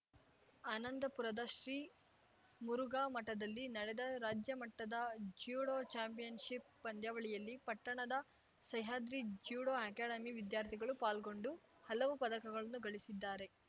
ಆನಂದಪುರದ ಶ್ರೀ ಮುರುಘಾ ಮಠದಲ್ಲಿ ನಡೆದ ರಾಜ್ಯ ಮಟ್ಟದ ಜ್ಯೂಡೋ ಚಾಂಪಿಯನ್‌ಶಿಪ್‌ ಪಂದ್ಯಾವಳಿಯಲ್ಲಿ ಪಟ್ಟಣದ ಸಹ್ಯಾದ್ರಿ ಜ್ಯೂಡೋ ಅಕಾಡೆಮಿ ವಿದ್ಯಾರ್ಥಿಗಳು ಪಾಲ್ಗೊಂಡು ಹಲವು ಪದಕಗಳನ್ನು ಗಳಿಸಿದ್ದಾರೆ